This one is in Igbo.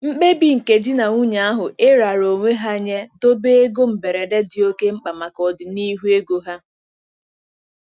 Mkpebi nke di na nwunye ahụ iraara onwe ha nye dobe ego mberede dị oke mkpa maka ọdịnihu ego ha.